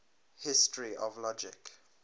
history of logic